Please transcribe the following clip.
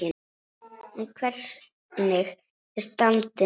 En hvernig er standið núna?